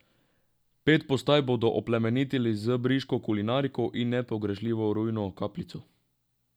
Pet postaj bodo oplemenitili z briško kulinariko in nepogrešljivo rujno kapljico.